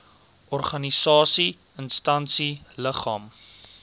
organisasie instansie liggaam